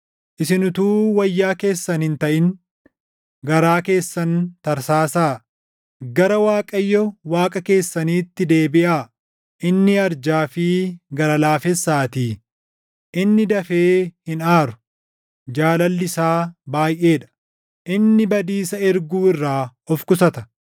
Isin utuu wayyaa keessan hin taʼin garaa keessan tarsaasaa. Gara Waaqayyo Waaqa keessaniitti deebiʼaa; inni arjaa fi gara laafessaatii; inni dafee hin aaru; jaalalli isaa baayʼee dha; inni badiisa erguu irraa of qusata.